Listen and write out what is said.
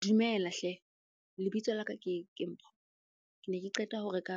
Dumela hle. Lebitso la ka ke Mpho. Ke ne ke qeta ho reka